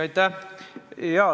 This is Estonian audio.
Aitäh!